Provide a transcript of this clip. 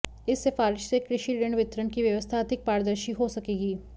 इस सिफारिश से कृषि ऋण वितरण की व्यवस्था अधिक पारदर्शी हो सकेगी